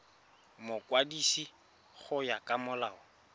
mokwadisi go ya ka molao